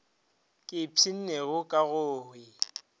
ke ipshinnego ka go e